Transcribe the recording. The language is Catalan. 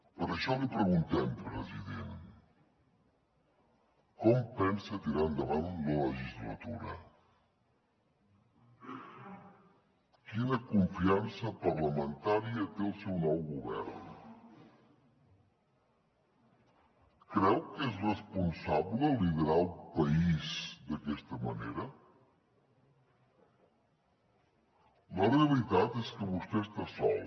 per això li preguntem president com pensa tirar endavant la legislatura quina confiança parlamentària té el seu nou govern creu que és responsable liderar el país d’aquesta manera la realitat és que vostè està sol